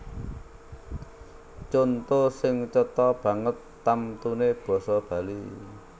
Conto sing cetha banget tamtuné basa Bali